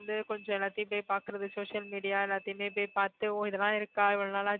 வந்து கொஞ்சம் எல்லாத்தையும் போய் பாக்குறது social media எல்லாத்தையுமே போயி பாத்து ஓ இதெல்லாம் இருக்கா இவ்வளவு நாளாச்சு